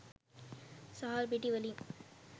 සහල් පිටි වලින්